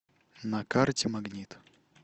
на карте магнит